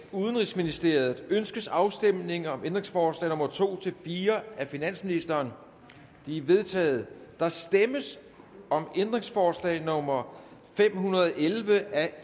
udenrigsministeriet ønskes afstemning om ændringsforslag nummer to fire af finansministeren de er vedtaget der stemmes om ændringsforslag nummer fem hundrede og elleve af